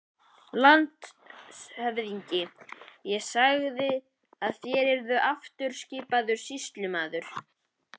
LANDSHÖFÐINGI: Ég sagði að þér yrðuð aftur skipaður sýslumaður.